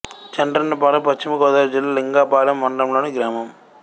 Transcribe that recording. చండ్రన్నపాలెం పశ్చిమ గోదావరి జిల్లా లింగపాలెం మండలం లోని గ్రామం